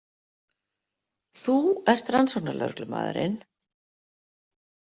Þú ert rannsóknarlögreglumaðurinn.